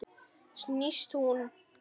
Snýst hún?